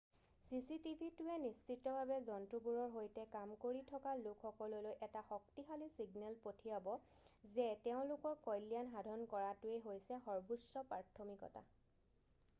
"""চিচিটিভিটোৱে নিশ্চিতভাৱে জন্তুবোৰৰ সৈতে কাম কৰি থকা লোকসকললৈ এটা শক্তিশালী ছিগনেল পঠিয়াব যে তেওঁলোকৰ কল্যাণ সাধন কৰাটোৱে হৈছে সৰ্বোচ্চ প্ৰাথমিকতা।""